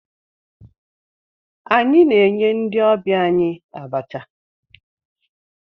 Anyị na-enye ndị ọbịa anyị abacha.